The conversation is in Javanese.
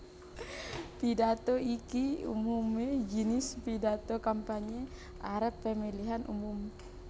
Pidhato iki umumé jinis pidhato kampanye arep pemilhan umum